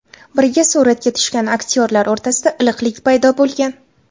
Birga suratga tushgan aktyorlar o‘rtasida iliqlik paydo bo‘lgan.